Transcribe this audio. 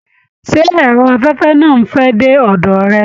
Ṣé ẹrọ afẹfẹ náà n fẹ dé ọdọ rẹ?